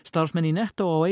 starfsmenn í nettó á